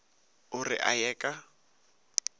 o re a ye ka